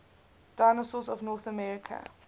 dinosaurs of north america